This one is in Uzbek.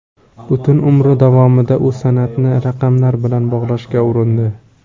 Butun umri davomida u san’atni raqamlar bilan bog‘lashga urindi.